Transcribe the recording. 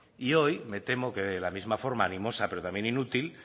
y hoy me temo que de la misma forma animosa pero también inútil